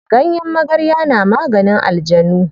Ganyen magarya na maganin aljanu.